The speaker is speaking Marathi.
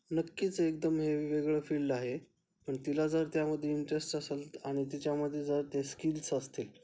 नक्कीच एकदम हे वेगळे फील्ड आहे पण तिला जर त्या मध्ये इंटरेस्ट असेल आणि तिचामध्ये जर ते स्किल्स असतील